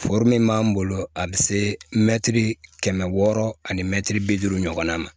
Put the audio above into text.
b'an bolo a bɛ se mɛtiri kɛmɛ wɔɔrɔ ani mɛtiri bi duuru ɲɔgɔnna ma